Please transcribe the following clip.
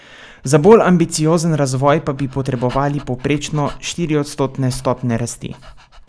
Za bolj ambiciozen razvoj pa bi potrebovali povprečno štiriodstotne stopnje rasti.